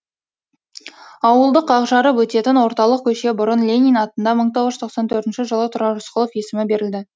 ауылды қақ жарып өтетін орталық көше бұрын ленин атында мың тоғыз жүз тоқсан төртінші жылы тұрар рысқұлов есімі берілді